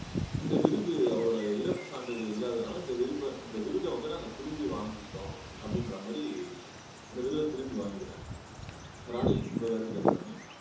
இந்த விருது அவரோட இறப்பு சான்றிதழ் இல்லாததுனால இந்த விருப இந்த விருதை வந்து நாங்க திரும்பி வாங்கிக்கிறோம் அப்படின்ற மாதிரி அந்த விருதை திரும்பி வாங்கிக்கிறாங்க ராணி உங்க கருத்து என்ன ராணி